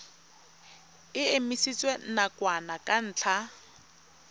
e emisitswe nakwana ka ntlha